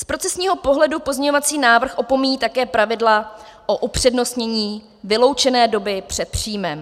Z procesního pohledu pozměňovací návrh opomíjí také pravidla o upřednostnění vyloučené doby před příjmem.